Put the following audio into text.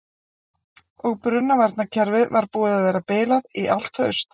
Og brunavarnarkerfið var búið að vera bilað í allt haust.